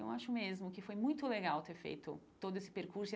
Eu acho mesmo que foi muito legal ter feito todo esse percurso.